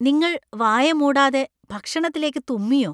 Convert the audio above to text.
നിങ്ങൾ വായ മൂടാതെ ഭക്ഷണത്തിലേക്ക് തുമ്മിയോ ?